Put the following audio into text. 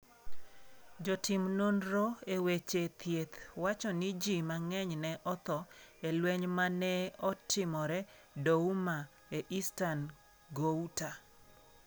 Jotim nonro e weche thieth wacho ni ji mang'eny ne otho e lweny ma ne otimore Douma, e Eastern Ghouta.